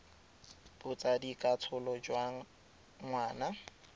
botsadi ka tsholo jwa ngwana